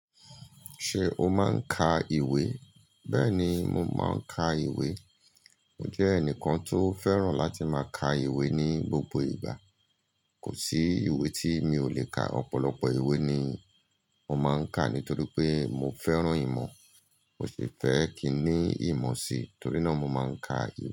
Ṣé o máa ń ka ìwé? Bẹ́ẹ̀ni, mo máa ń ka ìwé. Mo jẹ́ ẹnìkan tó fẹ́ràn láti máa ka ìwé ní gbogbo ìgbà. Kò sí ìwé tí mi ò lè ka. Ọ̀pọ̀lọpọ̀ ìwé ni mo máa ń ka nítorí pé mo fẹ́ràn ìmọ̀. Mò sì fẹ́ kí i ní ìmọ̀ sí, torí náà mo máa ń ka ìwé.